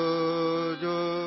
सो जाओ सो जाओ